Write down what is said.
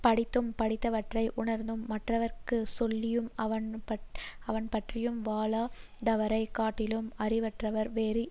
படித்தும் படித்தவற்றை உணர்ந்தும் மற்றவர்க்கு சொல்லியும் அவற்றின்படி வாழாதவரைக் காட்டிலும் அறிவற்றவர் வேறு இல்லை